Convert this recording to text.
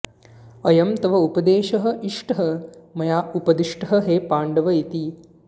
अयं तव उपदेशः इष्टः मया उपदिष्टः हे पाण्डव इति